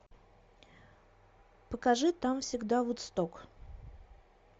покажи там всегда вудсток